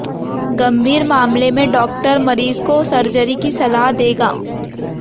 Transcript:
गंभीर मामले में डॉक्टर मरीज को सर्जरी की सलाह देगा